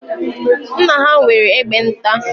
Nna ha nwere egbe nta.